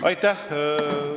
Aitäh!